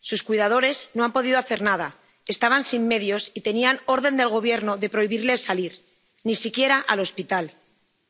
sus cuidadores no han podido hacer nada, estaban sin medios y tenían orden del Gobierno de prohibirles salir, ni siquiera al hospital,